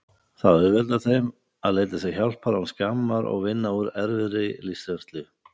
Það auðveldar þeim að leita sér hjálpar án skammar og vinna úr erfiðri lífsreynslu.